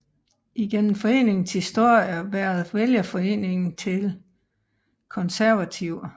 Igennem foreningens historie været vælgerforening til Konservative